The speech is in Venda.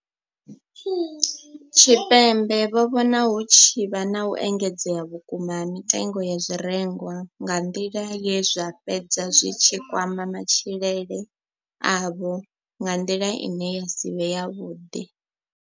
Tshipembe vho vhona hu tshi vha na u engedzea vhukuma ha mitengo ya zwirengwa nga nḓila ye zwa fhedza zwi tshi kwama matshilele avho nga nḓila ine ya si vhe yavhuḓi.